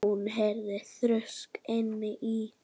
Hún heyrði þrusk inni í